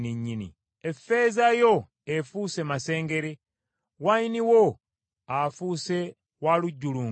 Effeeza yo efuuse masengere, wayini wo afuuse wa lujjulungu.